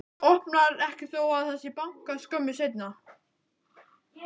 Opnar ekki þó að það sé bankað skömmu seinna.